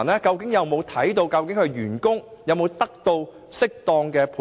金管局有否確定銀行員工是否得到適當的培訓？